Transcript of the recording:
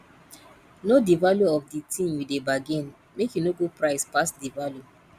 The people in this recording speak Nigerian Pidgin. know di value of di tin you dey bargain make you no go price pass di value